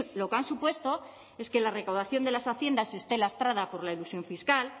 lo que han supuesto es que la recaudación de las haciendas esté lastrada por la elusión fiscal